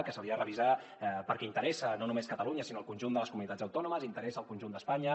s’hauria de revisar perquè interessa no només a catalu·nya sinó al conjunt de les comunitats autònomes interessa al conjunt d’espanya